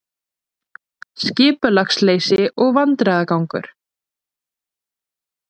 Skipulagsleysi og vandræðagangur